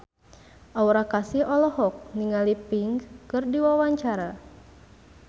Aura Kasih olohok ningali Pink keur diwawancara